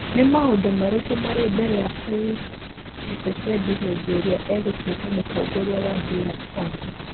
Nĩ maũndũ marĩkũ marĩ mbere ya Félix Tchisekedi hĩndĩ ĩrĩa egũtuĩka mũtongori wa DR Congo?